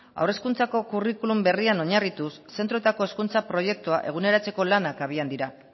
haur hezkuntzako curriculum berrian oinarrituz zentroetako hezkuntza proiektua eguneratzeko lanak abian dira